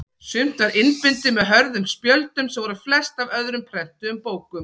Sumt var innbundið með hörðum spjöldum sem voru flest af öðrum prentuðum bókum.